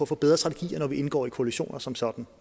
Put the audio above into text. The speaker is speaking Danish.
få bedre strategier når vi indgår i koalitioner som sådan